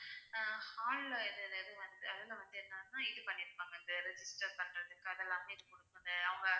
ஆஹ் hall அதுல வந்து என்னென்ன இது பண்ணி இருப்பாங்க இந்த பண்றது அவங்க